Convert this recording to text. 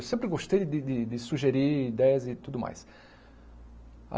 Eu sempre gostei de de de sugerir ideias e tudo mais.